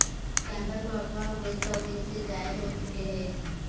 کیمبر کو اغواء ہوئے سو دن سے زائد ہو چکے ہیں